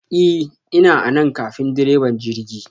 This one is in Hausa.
I ,ina anan ƙafin ɗireba jirgi!